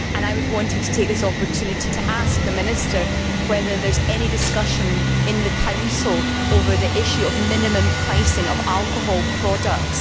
I wanted to take this opportunity to ask the Minister whether there is any discussion in the Council over the issue of minimum pricing of alcohol products.